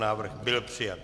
Návrh byl přijat.